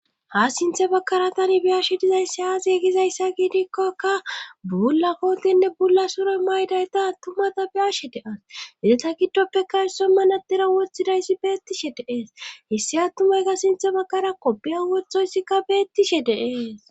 Ha sinthe bakkara tani biyashe dizayssi aaziye gizayssa giidikkakka bula kootinne bulla soroy maydayta attumata biyashe deas izeta giddoppeka hisso manadira woththidayssi beettishe deees hessi attumayka sinthe bakkara koppiya wothoyssikka beettishe deees